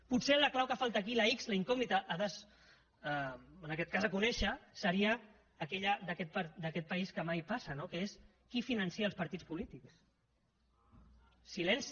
potser la clau que falta aquí la ics la incògnita en aquest cas a conèixer seria aquella d’aquest país que mai passa no que és qui finança els partits polítics silenci